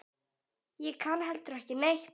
Ég kann heldur ekki neitt.